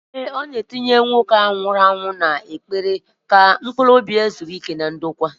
Ee, ọ na-etinye nwoke ahụ nwụrụ anwụ n'ekpere ka mkpuruobi ya zuo íké na ndokwa